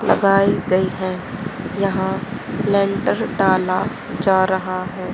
लगाई गई है यहां लेंटर डाला जा रहा है।